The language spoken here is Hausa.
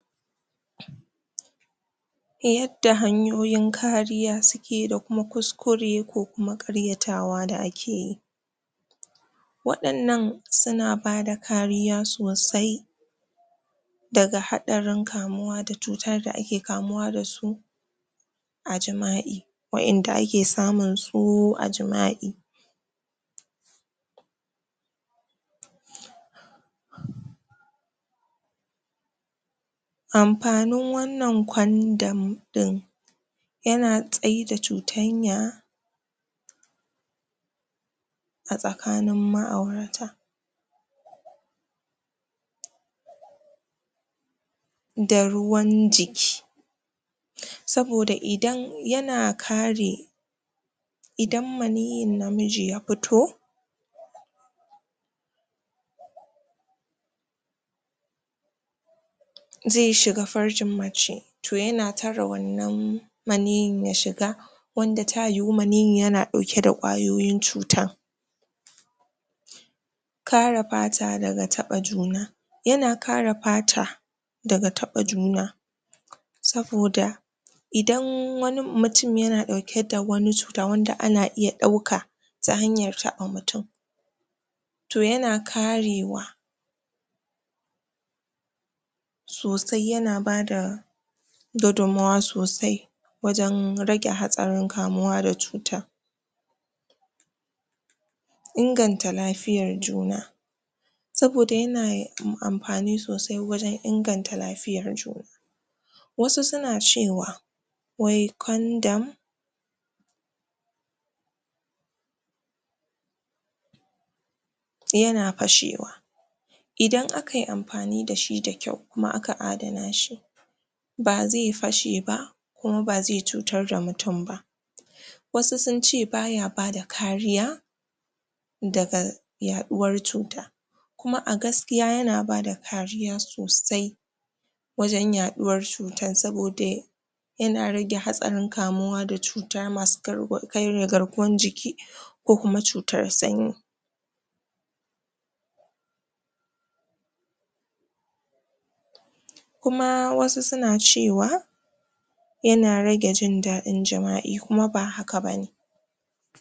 yanda hanyoyin kariya su ke da kuma kuskure ko kuma ƙaryatawa da akeyi waɗannan suna bada kariya sosai daga haɗarin kamuwa da cuta da ake kamuwa da su a jima'i wa'inda ake samun su a jima'i amfanin wannan kwandam da yana tsaida cuɗanya a tsakanin ma'aurata da ruwan jiki saboda idan yana kare idan maniyyin namiji ya fito zai shiga farjin mace toh yana tare wannan maniyyin ya shiga wanda ta yiwu maniyyin yana ɗauke da ƙwayoyin cuta kare fata daga taɓa juna yana kare fata daga taɓa juna saboda idan wani mutum yana ɗauke da wani cuta wanda ana iya ɗauka ta hanyar taɓa mutum toh yana karewa sosai yana bada gudunmuwa sosai wajen rage hatsarin kamuwa da cutan inganta lafiyan juna saboda yana da amfani sosai wajen inganta lafiyan juna wasu suna cewa wai kwandam yana fashewa idan akayi amfani da shi da kyau kuma aka adana shi ba zai fashe ba kuma ba zai cutar da mutum ba wasu sunce baya bada kariya daga yaɗuwar cuta kuma a gaskiya yana bada kariya sosai wajen yaɗuwar cutan saboda ya yana rage hatsarin kamuwa da cuta masu karwa karya garkuwan jiki ko kuma cutar sanyi kuma wasu suna cewa yana rage jindaɗin jima'i kuma ba haka bane